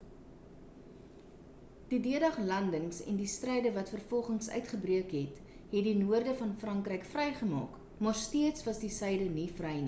die d-dag landings en die stryde wat vervolgens uitgebreek het het die noorde van frankryk vry gemaak maar steeds was die suide nie vry nie